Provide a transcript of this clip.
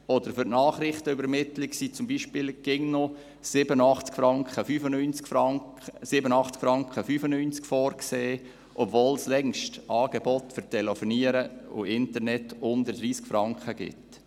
Oder für die Nachrichtenübermittlung sind zum Beispiel immer noch 87,95 Franken vorgesehen, obwohl es längst Angebote für Telefonie und Internet unter 30 Franken gibt.